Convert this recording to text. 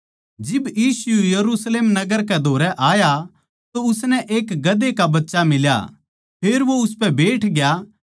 जिब यीशु यरुशलेम नगर कै धोरै आया तो उसनै एक गधे का बच्चा मिल्या फेर वो उसपै बैठग्या